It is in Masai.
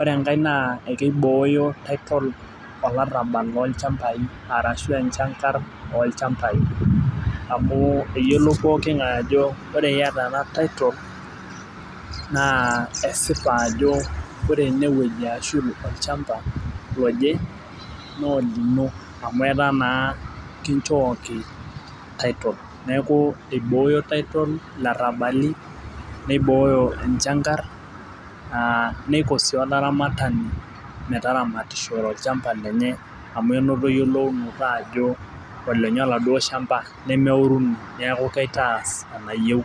ore enkae naa kibooyo titol olarabal loo ilchambai arashu enchangar oolchambai amu eyiolou pooki ng'ae ajo iyata ena titolnaa esipa ajo ore eneyieji ashu olchamba loje naa olino, amu etaa naa kichooki titol neeku ibooyo titol ilarabali, niboyo enchangar aaniko siiolsramatani metaramata olchamba lenye amu enoto eyiolou noto ajo olenye oladuo shamba nemeurini neeku kaitas enayieu.